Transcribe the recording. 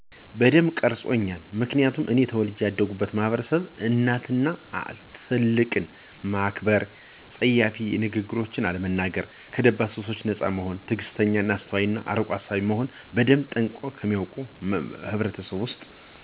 በደንብ ቀርጾኛል ምክንያቱም እኔ ተወልጀ ያደግሁበት ማህበረሰብ እናት አባትን እና ትልቅን ማክበር :ጸያፍ ንግግርን አለመናገር :ከደባል ሱሶች ነጻ መሆንን :ትግስተኛ :አስተዋይ እና አርቆ አሳቢ መሆንን በደንብ ጠንቅቆ ከሚያውቅ ህብረተሰብ ውስጥ ስለተወለድሁ በስርአት :በግብረገብነት እና በሃይማኖት ተኮትኩቸ ያደግሁ ስለሆነ በህይወት ዙሪያየ ያሉትን ጠንቅቄ እዳውቅ አድርጎኛል በዙሪያዋ ያለውን ተለዋዋጭ እና ውጣውረድ የበዛባት አለም ግንዛቤ ሰፋ አድርጌ እንድንመለከት እረድቶኛል።